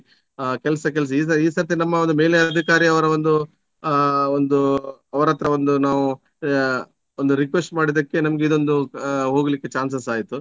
ಆ ಕೆಲಸ ಕೆಲಸ ಈ ಸ~ ಈ ಸರ್ತಿ ನಮ್ಮ ಒಂದು ಮೇಲಧಿಕಾರಿ ಅವರ ಒಂದು ಆ ಒಂದು ಅವರತ್ರ ಒಂದು ನಾವು ಆ ಒಂದು request ಮಾಡಿದಕ್ಕೆ ನಮ್ಗೆ ಇದೊಂದು ಹೋಗಲಿಕ್ಕೆ chances ಆಯ್ತು.